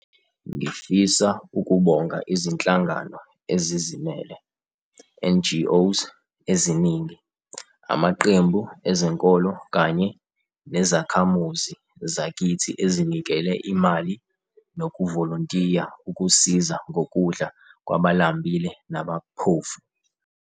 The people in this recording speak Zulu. Ngifisa ukubonga Izinhlangano Ezizimele, NGOs, eziningi, amaqembu ezenkolo kanye nezakhamuzi zakithi ezinikele imali nokuvolontiya ukusiza ngokudla kwabalambile nabaphofu.